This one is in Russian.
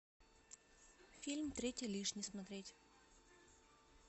фильм третий лишний смотреть